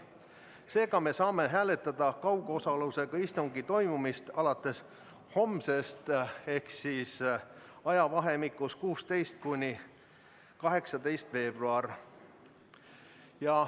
Seega me saame hääletada kaugosalusega istungi toimumist alates homsest ehk siis ajavahemikus 16.–18. veebruar.